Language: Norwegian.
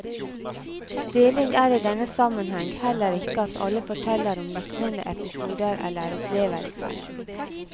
Deling er i denne sammenheng heller ikke at alle forteller om liknende episoder eller opplevelser.